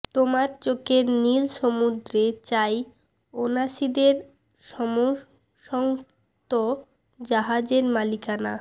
তোমার চোখের নীল সমুদ্রে চাই ওনাসীদের সমসন্ত জাহাজের মালিকানা